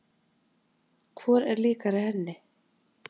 Hvor er líkari henni?